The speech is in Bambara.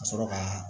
Ka sɔrɔ kaa